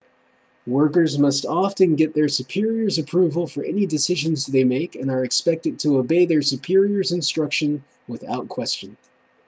workers must often get their superiors' approval for any decisions they make and are expected to obey their superiors' instructions without question